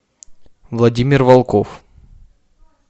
владимир волков